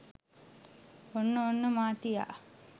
ඔන්න ඔන්න මාතියා